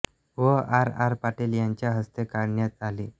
व R R Patil यांच्या हस्ते करन्यात आली